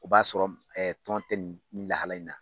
O b'a sɔrɔ tɔn tɛ nin lahala in na.